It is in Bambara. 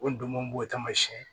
O ndomo b'o tamasiyɛn